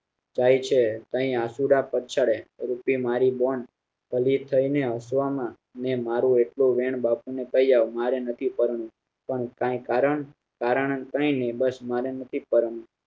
જાય છે અહીં આસુંડા પગશરે રૂટી મારી બોન ભલી થઇ ને હસવાનું ને મારુ એટલું વેન બાપુને કઈ આવ મારે નથી પરણાવું પણ કઈ કારણ કઈ કારણ કઈ નાઈ બસ મારે નથી પરણાવું